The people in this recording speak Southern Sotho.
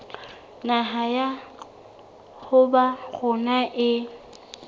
naha ya habo rona e